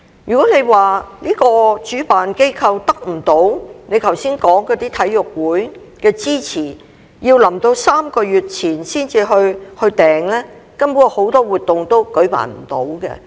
如果主辦機構得不到你剛才所說的體育會的支持，要到3個月前才去預訂場地，根本很多活動都舉辦不到。